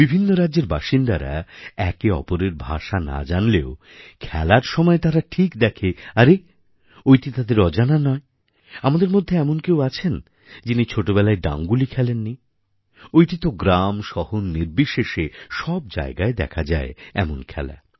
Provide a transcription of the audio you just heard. বিভিন্ন রাজ্যের বাসিন্দারা একে অপরের ভাষা না জানলেও খেলার সময় তারা ঠিক দেখে আরে ঐটি তাদের অজানা নয় আমাদের মধ্যে এমন কেউ আছেন যিনি ছোটবেলায় ডাঙ্গুলি খেলেননি ঐটি তো গ্রামশহর নির্বিশেষে সব জায়গায় দেখা যায় এমন খেলা